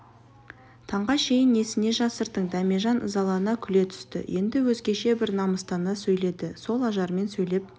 таңға шейін несіне жасырдың дәмежан ызалана күле түсті енді өзгеше бір намыстана сөйледі сол ажармен сөйлеп